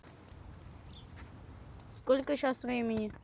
сколько сейчас времени